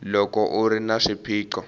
loko u ri na swiphiqo